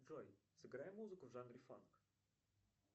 джой сыграй музыку в жанре фанк